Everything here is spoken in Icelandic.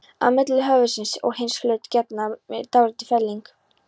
Á milli höfuðsins og hins hluta getnaðarlimsins er dálítil felling.